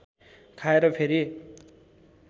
खाएर फेरि